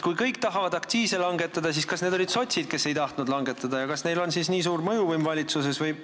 Kui kõik tahavad aktsiise langetada, siis kas need olid sotsid, kes ei tahtnud langetada, ja kas neil on siis nii suur mõjuvõim valitsuses?